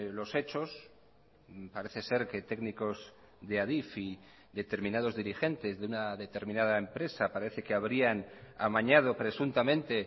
los hechos parece ser que técnicos de adif y determinados dirigentes de una determinada empresa parece que habrían amañado presuntamente